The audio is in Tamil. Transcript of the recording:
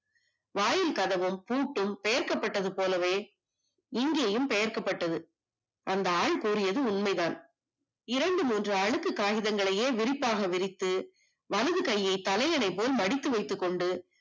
வாயில் கதவும் பூட்டும் சேர்க்கப்பட்டது போலவே இங்கேயும் பெயர்க்கப்பட்டது அந்த ஆள் கூறியது உண்மைதான் இரண்டு மூன்று அழுக்கு காயிதங்களை விரிவாக விரித்து வலது கையை தனையனை போல் மடித்து வைத்துக் கொண்டு